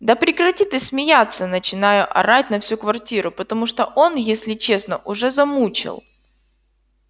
да прекрати ты смеяться начинаю орать на всю квартиру потому что он если честно уже замучил